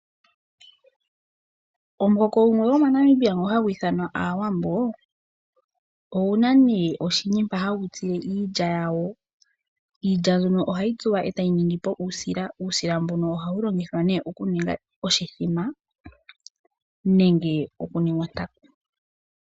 Omuhoko gumwe gomoNamibia ngono hagu ithanwa Aawambo, ogu na nduno oshini mpono hagu tsu iilya yagwo. Iilya ohayi tsuwa e tayi ningi po uusila, uusila mbono ohawu longithwa nduno okuninga oshimbombo nenge okuninga ontaku.